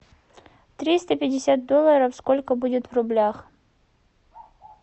триста пятьдесят долларов сколько будет в рублях